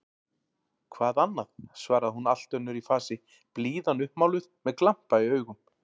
Hvað annað? svaraði hún allt önnur í fasi, blíðan uppmáluð, með glampa í augum.